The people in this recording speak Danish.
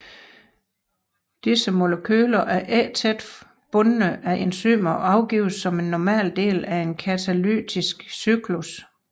Disse molekyler er ikke tæt bundne af enzymer og afgives som en normal del af en katalytisk cyklus